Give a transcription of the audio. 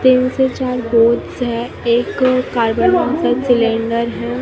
तीन से चार गोट्स है एक कार्बन डाइआक्साइड सिलिन्डर है।